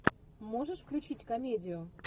можешь включить комедию